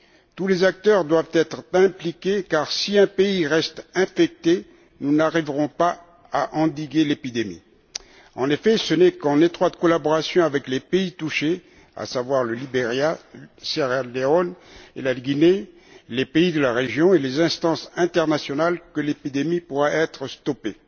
Tous les acteurs doivent être impliqués, car si un pays reste infecté, nous n'arriverons pas à endiguer l'épidémie. En effet, ce n'est qu'en étroite collaboration avec les pays touchés à savoir le Liberia, la Sierra Leone et la Guinée avec les pays de la région et avec les instances internationales que l'épidémie pourra être stoppée.